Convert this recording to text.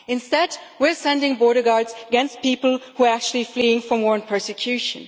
Instead, we are sending border guards against people who are actually fleeing from war and persecution.